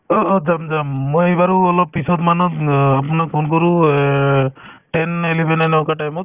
অ অ যাম যাম মই বাৰু অলপ পিছত মানত অ আপোনাক phone কৰো এ ten eleven এনেকুৱা time ত